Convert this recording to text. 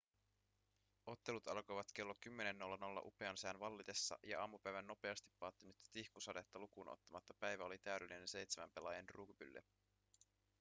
ottelut alkoivat kello 10.00 upean sään vallitessa ja aamupäivän nopeasti päättynyttä tihkusadetta lukuun ottamatta päivä oli täydellinen seitsemän pelaajan rugbylle